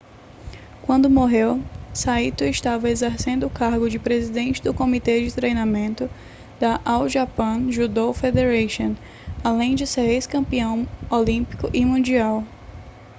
quando morreu saito estava exercendo o cargo de presidente do comitê de treinamento da all japan judo federation além de ser ex-campeão olímpico e mundial